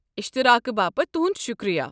اشتعراقہٕ باپت تُہُنٛد شکریہ۔